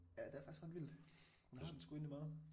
Ja det er faktisk ret vildt hun har den sgu egentlig meget